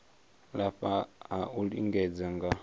lafha ha u lingedza nga